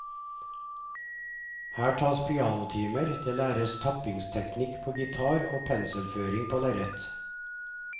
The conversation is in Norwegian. Her tas pianotimer, det læres tappingteknikk på gitar og penselføring på lerret.